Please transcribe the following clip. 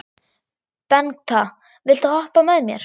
Bengta, viltu hoppa með mér?